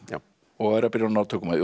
og eru að byrja að ná tökum á því